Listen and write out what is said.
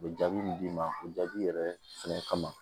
U bɛ jaabi min d'i ma o jaabi yɛrɛ fɛnɛ kama